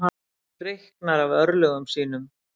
Hreyknar af örlögum sínum.